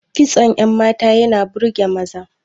Kitson yan mata yana burge maza